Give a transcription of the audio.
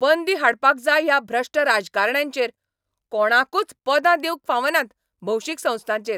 बंदी हाडपाक जाय ह्या भ्रश्ट राजकारण्यांचेर, कोणाकूच पदां दिवंक फावनात भौशीक संस्थांचेर.